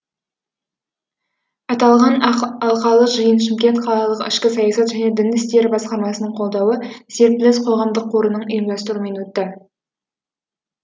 аталған алқалы жиын шымкент қалалық ішкі саясат және дін істері басқармасының қолдауы серпіліс қоғамдық қорының ұйымдастыруымен өтті